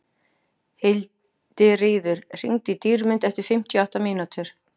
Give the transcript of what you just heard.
Hildiríður, hringdu í Dýrmund eftir fimmtíu og átta mínútur.